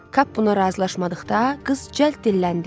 Kap buna razılaşmadıqda qız cəld dilləndi.